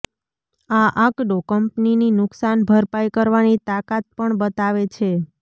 આ આંકડો કંપનીની નુકસાન ભરપાઈ કરવાની તાકાત પણ બતાવે છે